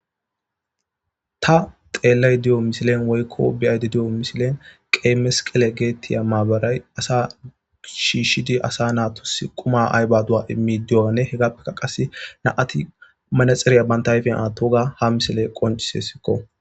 Ta xelayida diyo misiliya woyikko be'ayida diyo misile qeyi mesqeliga gettetiya gettetiya mabaray asa shishshidi asa quma immidi diyoganne nam'ati qasi manxire atidageta beses.